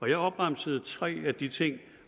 jeg opremsede tre af de ting